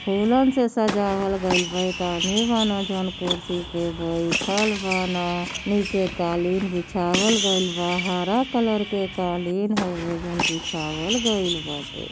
फूलन से सजावल गइल बा। एक आदमी बान जौन कुर्सी पे बईठल बान। नीचे कालीन बिछावल गइल बा। हरा कलर के कालीन हउए जौन बिछावल गइल बाटे।